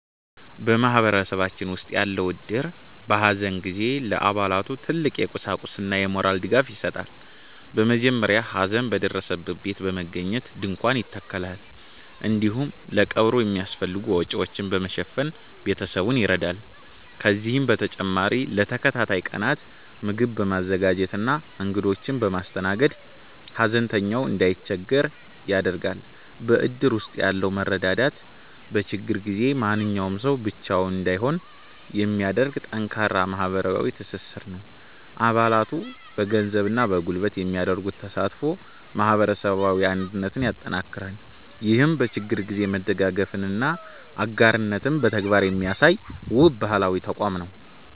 በማህበረሰባችን ውስጥ ያለው እድር፣ በሐዘን ጊዜ ለአባላቱ ትልቅ የቁሳቁስና የሞራል ድጋፍ ይሰጣል። በመጀመሪያ ሐዘን በደረሰበት ቤት በመገኘት ድንኳን ይተከላል፤ እንዲሁም ለቀብሩ የሚያስፈልጉ ወጪዎችን በመሸፈን ቤተሰቡን ይረዳል። ከዚህም በተጨማሪ ለተከታታይ ቀናት ምግብ በማዘጋጀትና እንግዶችን በማስተናገድ፣ ሐዘንተኛው እንዳይቸገር ያደርጋል። በእድር ውስጥ ያለው መረዳዳት፣ በችግር ጊዜ ማንም ሰው ብቻውን እንዳይሆን የሚያደርግ ጠንካራ ማህበራዊ ትስስር ነው። አባላቱ በገንዘብና በጉልበት የሚያደርጉት ተሳትፎ ማህበረሰባዊ አንድነትን ያጠናክራል። ይህም በችግር ጊዜ መደጋገፍንና አጋርነትን በተግባር የሚያሳይ፣ ውብ ባህላዊ ተቋም ነው።